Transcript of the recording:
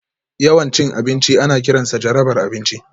Yawan cin abinci ana kiransa jarabar abinci